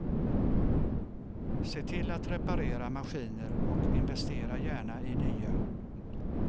Se till att reparera maskiner och investera gärna i nya.